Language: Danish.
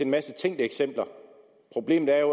masse tænkte eksempler problemet er